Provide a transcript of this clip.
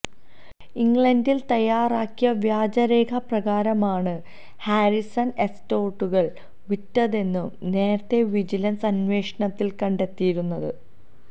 ഇംഗ്ളണ്ടിൽ തയാറാക്കിയ വ്യാജരേഖ പ്രകാരമാണ് ഹാരിസൺ എസ്റ്റേറ്റുകൾ വിറ്റതെന്നു നേരത്തേ വിജിലൻസ് അന്വേഷണത്തിൽ കണ്ടെത്തിയിരുന്നു